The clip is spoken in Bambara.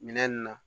Minɛn ninnu na